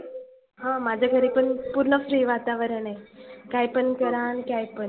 हा माझ्या घरी पण पुर्ण free वातावरण आहे. काही पण करा आणि काही पण.